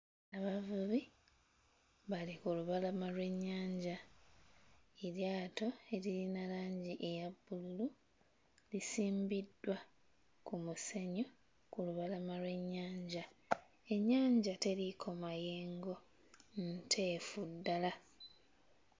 Abavubi bali ku lulama lw'ennyanja, eryato eririna langi eya bbululu lisimbiddwa ku musenyu ku lubalama lw'ennyanja. Ennyanja teriiko mayengo, nteefu ddala.